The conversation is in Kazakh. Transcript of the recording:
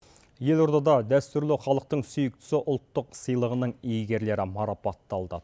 елордада дәстүрлі халықтың сүйіктісі ұлттық сыйлығының иегерлері марапатталды